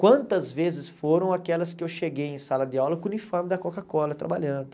Quantas vezes foram aquelas que eu cheguei em sala de aula com o uniforme da Coca-Cola, trabalhando.